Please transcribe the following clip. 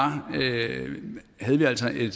altså en